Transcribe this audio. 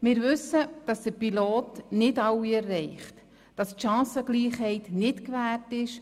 Wir wissen, dass der Pilotversuch nicht alle erreicht und die Chancengleichheit nicht gewährt ist.